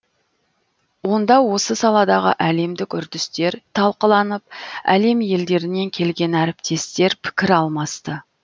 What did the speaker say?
онда осы саладағы әлемдік үрдістер талқыланып әлем елдерінен келген әріптестер пікір алмасты